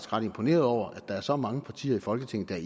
ret imponeret over at der er så mange partier i folketinget der er